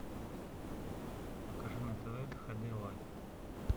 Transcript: покажи на тв хд лайф